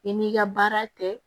I n'i ka baara tɛ